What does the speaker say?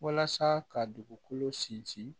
Walasa ka dugukolo sinsin